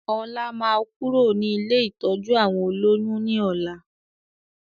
Ọlá máa kúrò ní ilé ìtọ́jú àwọn olóyún ni ọ̀la